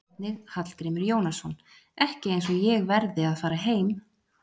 Sjá einnig: Hallgrímur Jónasson: Ekki eins og ég verði að fara heim